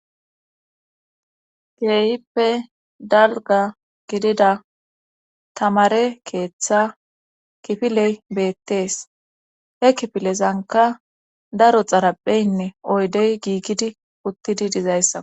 Geeyppe dalga gidida tamare keeththa kifiley beettees he kifilezanka daro xarapheynne oydey giiggidi uttidi dizayssa.